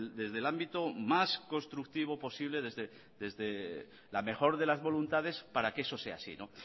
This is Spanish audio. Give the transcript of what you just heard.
desde el ámbito más constructivo posible desde la mejor de las voluntades para que eso sea así